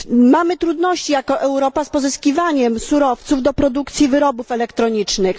Mamy trudności, jako Europa, z pozyskiwaniem surowców do produkcji wyrobów elektronicznych.